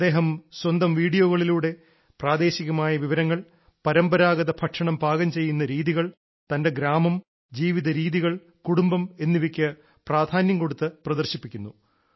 അദ്ദേഹം സ്വന്തം വീഡിയോകളിലൂടെ പ്രാദേശികമായ വിവരങ്ങൾ പാരമ്പരാഗത ഭക്ഷണം പാകം ചെയ്യുന്ന രീതികൾ തന്റെ ഗ്രാമം ജീവിതരീതികൾ കുടുംബം എന്നിവയ്ക്ക് പ്രാധാന്യം കൊടുത്ത് പ്രദർശിപ്പിക്കുന്നു